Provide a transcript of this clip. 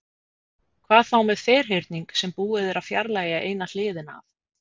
Hvað þá með ferhyrning sem búið er að fjarlægja eina hliðina af?